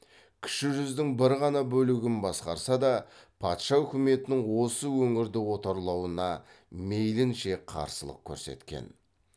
кіші жүздің бір ғана бөлігін басқарса да патша үкіметінің осы өңірді отарлауына мейлінше қарсылық көрсеткен